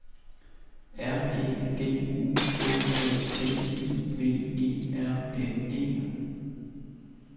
R E G U L A T I V E R N E